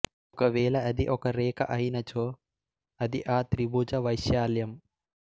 ఒకవేళ అది ఒక రేఖ అయినచో అది ఆ త్రిభుజ వైశాల్యం